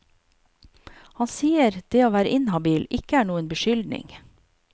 Han sier det å være inhabil ikke er noen beskyldning.